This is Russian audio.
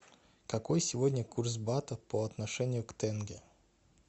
какой сегодня курс бата по отношению к тенге